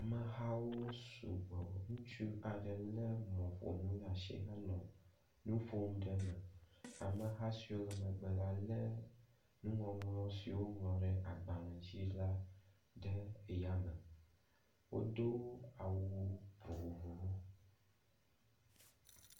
Amehawo sugbɔ. Ŋutsu aɖe le mɔƒonu ɖe asi hele nu ƒom ɖ eme. Ameha siwo le megbe la le nuŋɔŋlɔ si woŋlɔ ɖe agbale dzi la ɖe yame. Wodo awu vovovowo.